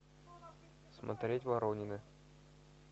смотреть воронины